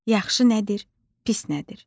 Yaxşı nədir, pis nədir?